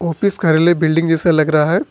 Office कार्यालय building जैसा लग रहा है।